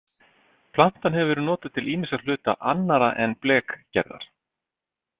Plantan hefur verið notuð til ýmissa hluta annarra en blekgerðar.